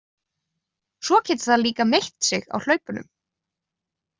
Svo getur það líka meitt sig á hlaupunum.